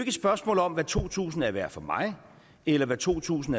et spørgsmål om hvad to tusind kroner er værd for mig eller hvad to tusind